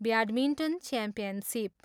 Badminton championship.